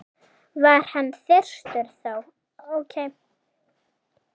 var hann þyrstur þó.